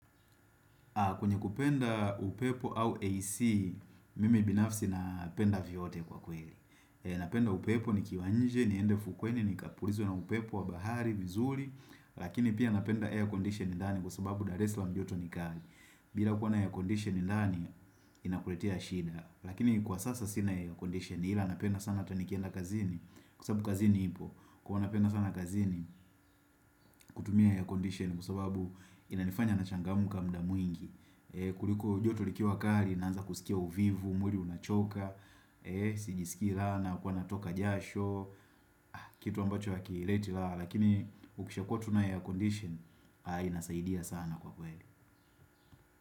Kwenye kupenda upepo au AC, mimi binafsi napenda vyote kwa kweli. Napenda upepo ni kiwa nje, niende ufukweni, ni kapurizwe na upepo wa bahari, vizuri, lakini pia napenda air condition ndani kwa sababu dar es Salaam joto ni kali. Bila kwa na air condition ndani, inakuletea shida. Lakini kwa sasa sina air condition, ila napenda sana hata nikienda kazini, kwa sababu kazini ipo, kwa napenda sana kazini, kutumia air condition, kwasababu inanifanya nachangamka kwa wingi kuliko joto likiwa kali nanza kusikia uvivu mwili unachoka Sijiski raha na huwa natoka jasho kitu ambacho hakileti raha lakini ukisha kuwa tunayo air condition inasaidia sana kwa kweli.